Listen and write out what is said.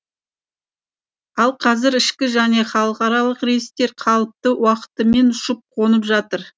ал қазір ішкі және халықаралық рейстер қалыпты уақытымен ұшып қонып жатыр